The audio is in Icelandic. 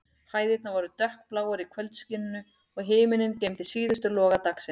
Hæðirnar voru dökkbláar í kvöldskininu, og himinninn geymdi síðustu loga dagsins.